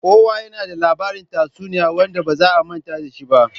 Kowa yana da labarin tatsuniyoyi wanda ba za a manta da shi ba.